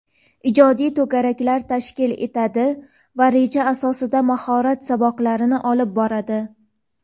ijodiy to‘garaklar tashkil etadi va reja asosida mahorat saboqlarini olib boradi;.